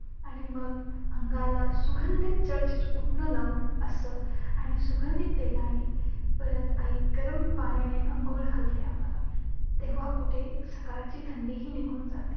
आणि मग अंगाला सुगंधित चर्चित उटणं लावून असं आणि सुगंधित तेलाने परत आई गरम पाण्याने आंघोळ घालते आम्हांला. तेव्हा कुठे सकाळची थंडीही निघून जाते.